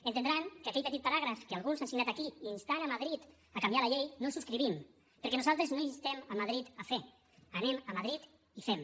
entendran que aquell petit paràgraf que alguns han signat aquí instant madrid a canviar la llei no el subscrivim perquè nosaltres no instem madrid a fer anem a madrid i fem